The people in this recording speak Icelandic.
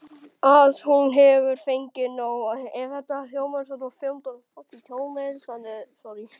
Að hún hefur fengið nóg.